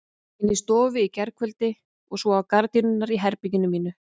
Inni í stofu í gærkveldi og svo á gardínurnar í herberginu mínu.